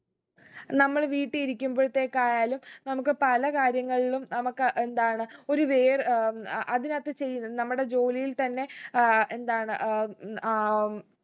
നമ്മൾ വീട്ടി ഇരിക്കുമ്പോഴ്തെക്കായാലു നമുക്ക് പല കാര്യങ്ങളിലും നമുക്ക് എന്താണ് ഒരു വേർ ഏർ ആഹ് അതിനകത്തു ചെയുന്ന് നമ്മുടെ ജോലിയിൽ തന്നെ ഏർ എന്താണ് ഏർ ഉം അഹ് ഉം